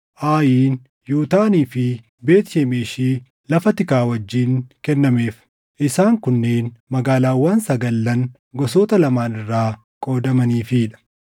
Aayin, Yutaanii fi Beet Shemeshi lafa tikaa wajjin kennameef; isaan kunneen magaalaawwan sagallan gosoota lamaan irraa qoodamaniifii dha.